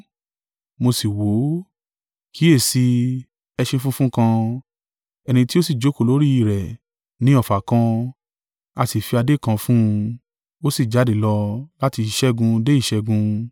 Mo sì wò ó, kíyèsi i, ẹṣin funfun kan: ẹni tí ó sì jókòó lórí i rẹ̀ ní ọfà kan; a sì fi adé kan fún un: ó sì jáde lọ láti ìṣẹ́gun dé ìṣẹ́gun.